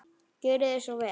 Gjörið þið svo vel.